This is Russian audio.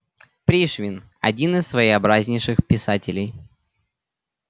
пришвин один из своеобразнейших писателей